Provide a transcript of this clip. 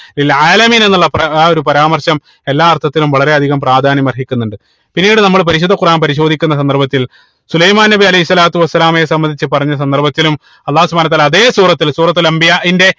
എന്നുള്ള ആ ഒരു പരാമർശം എല്ലാ അർത്ഥത്തിലും വളരെ അധികം പ്രാധാന്യം അർഹിക്കുന്നുണ്ട് പിന്നീട് നമ്മൾ പരിശുദ്ധ ഖുറാൻ പരിശോധിക്കുന്ന സന്ദർഭത്തിൽ സുലൈമാൻ നബി അലൈഹി സ്വലാത്തു വസ്സലാമയെ സംബന്ധിച്ച് പറഞ്ഞ സന്ദർഭത്തിലും അള്ളാഹു സുബ്‌ഹാനഉ വതാല അതേ സൂറത്തിൽ സൂറത്തുൽ അംബിയാഇന്റെ